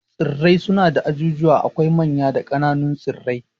Tsirrai suna da ajujuwa, akwai manya da kananun tsirrai